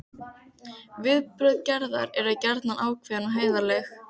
Viðbrögð Gerðar eru gjarnan ákveðin og heiðarleg.